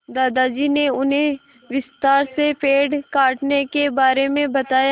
दादाजी ने उन्हें विस्तार से पेड़ काटने के बारे में बताया